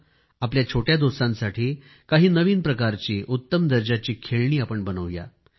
चला आपल्या छोट्या दोस्तांसाठी काही नवीन प्रकारची उत्तम दर्जाची खेळणी आपण बनवू या